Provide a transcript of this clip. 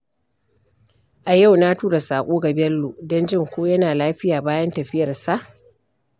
A yau na tura saƙo ga Bello don jin ko yana lafiya bayan tafiyarsa.